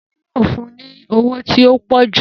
Emi yoo fun u ni ọwọ ti o pọju.